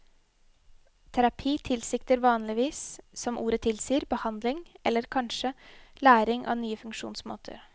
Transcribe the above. Terapi tilsikter vanligvis, som ordet tilsier, behandling eller kanskje læring av nye funksjonsmåter.